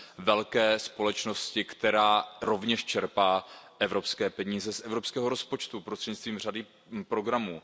velké společnosti, která rovněž čerpá evropské peníze z evropského rozpočtu prostřednictvím řady programů.